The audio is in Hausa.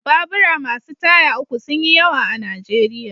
Babura masu taya uku sun yi yawa a Najeriya.